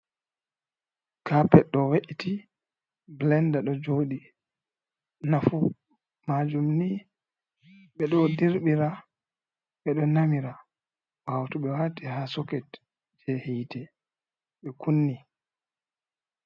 Kappet ɗo we'iti, bilenda ɗo joɗi. Nafu majum ni ɓeɗo dirɓira, ɓeɗo namira ɓawo to ɓe waati ha soket je hiite be kunni.